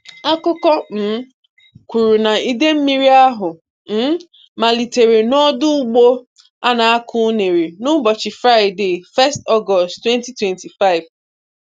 Akụkọ um kwuru na idemmiri ahụ um malitere n'ọdọ ugbo a na-akọ unere n'ụbọchị Fraịde 1 Ọgọst, 2025